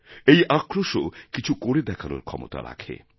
এই আক্রোশও কিছু করে দেখানোরক্ষমতা রাখে